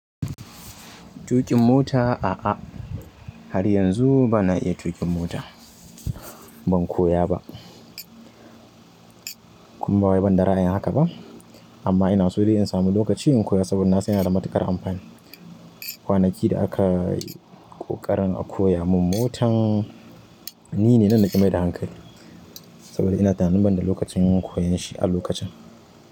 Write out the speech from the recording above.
Tuƙin mota, a'a har yanzu ba na iya tuƙin mota. Ban koya ba. Kuma ba wai bani da ra'ayin haka ba, amma ina so dai in samu lokaci in koya saboda na san yana da matuƙar amfani. Kwanaki da aka yi ƙoƙarin a koya mun motan ni ne nan naƙi maida hankali saboda ina tunanin ban da lokacin koyon shi a lokacin.